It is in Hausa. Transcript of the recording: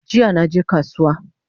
Jiya naje kasuwa